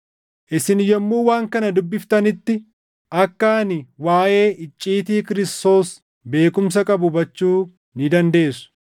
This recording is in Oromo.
Isin yommuu waan kana dubbiftanitti akka ani waaʼee icciitii Kiristoos beekumsa qabu hubachuu ni dandeessu;